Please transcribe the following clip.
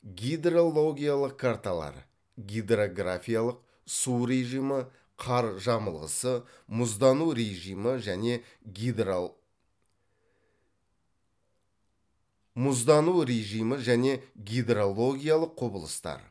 гидрологиялық карталар мұздану режимі және гидрологиялық құбылыстар